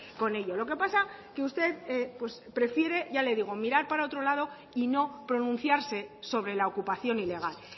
con ello lo que pasa que usted prefiere y ya le digo mirar para otro lado y no pronunciarse sobre la ocupación ilegal